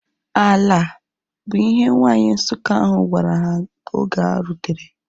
"Ala" bu ihe nwanyi Nsukka ahu gwara ha oge ha rutere